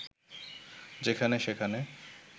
যেখানে-সেখানে